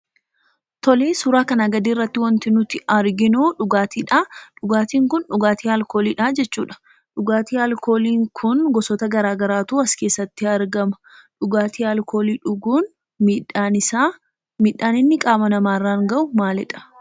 Tolee, suuraa kanaa gadiirratti wanti nuti arginu dhugaatiidha. Dhugaatiin kun dhugaatii alkooliidha jechuudha. Dhugaatii alkooliin kun gosoota garaagaraatu as keessatti argama. Dhugaatii alkoolii dhuguun miidhaan isaa miidhaan inni qaama namaarraan ga'u maalidha?